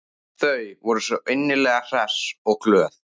Þau voru svo innilega hress og glöð.